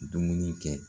Dumuni kɛ